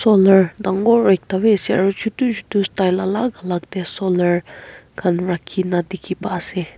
olar dangor ekta b ase aro chutu chutu style alak alak de solar khan rakhi na dikhi pai ase.